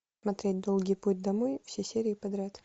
смотреть долгий путь домой все серии подряд